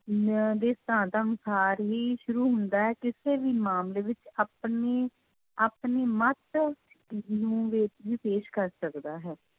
ਨਿਆਂ ਦੇ ਹੀ ਸ਼ੁਰੂ ਹੁੰਦਾ ਹੈ ਕਿਸੇ ਵੀ ਮਾਮਲੇ ਵਿੱਚ ਆਪਣੀ ਆਪਣੀ ਮੱਤ ਨੂੰ ਪੇਸ਼ ਕਰ ਸਕਦਾ ਹੈ।